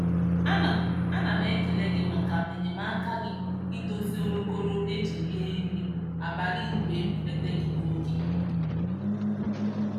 Ana Ana m ekele gị maka enyemaka gị idozi olokoro e ji rie nri abalị mgbe m eeuteghị n'oge